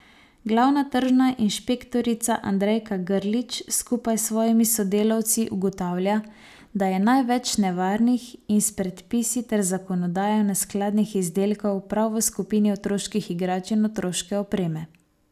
Glavna tržna inšpektorica Andrejka Grlić skupaj s svojimi sodelavci ugotavlja, da je največ nevarnih in s predpisi ter zakonodajo neskladnih izdelkov prav v skupini otroških igrač in otroške opreme.